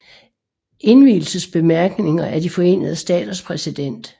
Indvielsesbemærkninger af De Forenede Staters præsident